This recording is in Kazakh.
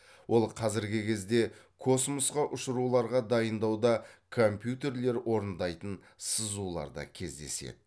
ол қазіргі кезде космосқа ұшыруларға дайындауда компьютерлер орындайтын сызуларда кездеседі